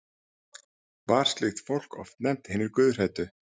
var slíkt fólk oft nefnt hinir guðhræddu